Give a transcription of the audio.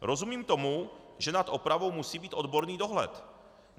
Rozumím tomu, že nad opravou musí být odborný dohled.